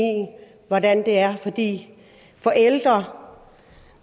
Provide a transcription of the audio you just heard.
hvordan det er for de forældre